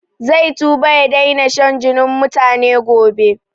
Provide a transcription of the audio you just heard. Zai tuba ya daina shan jinin mutane gobe